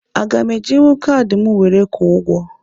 Aga m ejinwu kaadị m were kwụọ ụgwọ?